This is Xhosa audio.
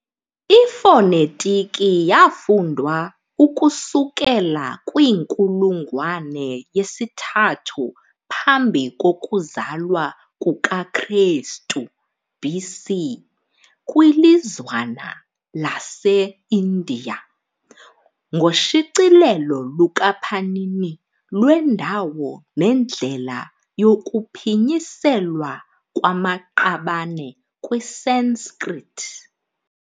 Ifonetiki yafundwa ukusukela kwiinkulungwane yesithathu phambi kokuzalwa kukaKrestu, BC, kwilizwana lase-India, ngoshicilelo lukaPanini lwendawo nendlela yokuphinyiselwa kwamaqabane kwiSanskrit.